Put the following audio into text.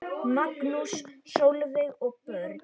Magnús, Sólveig og börn.